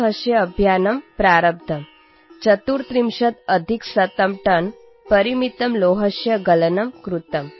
कृतम् | झारखण्डस्य एकः कृषकः मुद्गरस्य दानं कृतवान् | भवन्तः